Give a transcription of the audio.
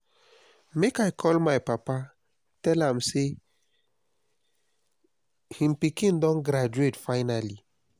make i call my papa tell am say him pikin don graduate finally